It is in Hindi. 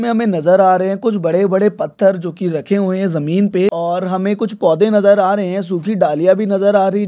यहा हमे नजर आ रहे है कुछ बड़े बड़े पत्थर जो की रखे हुए जमीन पे और हमें कुछ पौधे नजर आ रहे है सुखी डालीया भी नजर आ रही--